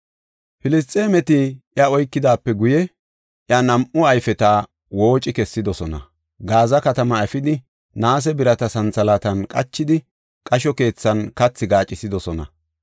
Filisxeemeti iya oykidaape guye, iya nam7u ayfeta wooci kessidosona. Gaaza katamaa efidi naase birata santhalaatan qachidi qasho keethan kathi gaacisidosona.